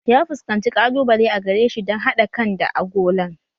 Ya fuskanci ƙalubale a gare shi dan haɗa kan da agolan